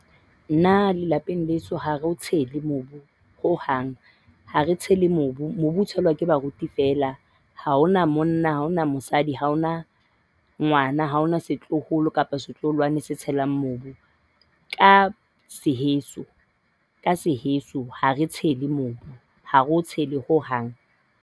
Nna le lapeng leso ha re o tshele mobu ho hang. Ha re tshele mobu. Mobu o tshelwa ke baruti feela. Ha hona monna, ha hona mosadi, ha hona ngwana, ha hona setloholo kapa setloholwana se tshelang mobu. Ka seheso ka seheso ha re o tshele mobu. Ha re o tshele ho hang.